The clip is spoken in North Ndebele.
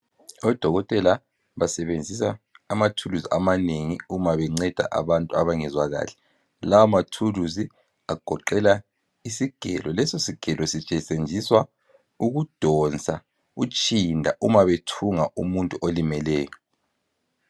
Odokotela basebenzisa amathulusi amanengi uma benceda abantu abangezwa kahle. La mathulusi agoqela isigelo. Leso sigelo sisetshenziswa ukudonsa utshinda uma bethunga umuntu olimeleyo.